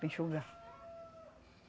para enxugar.